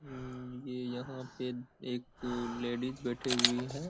अम ये यहाँ पे एक अ लेडीज बैठी हुई है।